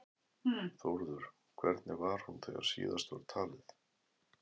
Þórður, hvernig var hún þegar síðast var talið?